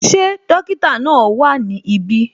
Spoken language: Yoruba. Ṣé dókítà náà wá ní ibi?